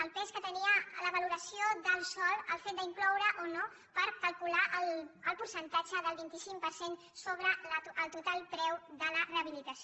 el pes que tenia la valoració del sòl el fet d’incloure o no per calcular el percentatge del vint cinc per cent sobre el total preu de la rehabilitació